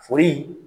Foli